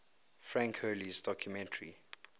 frank hurley's documentary